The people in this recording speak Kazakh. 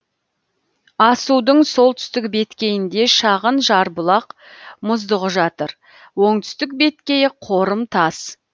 асудың солтүстік беткейінде шағын жарбұлақ мұздығы жатыр оңтүстік беткейі қорымтас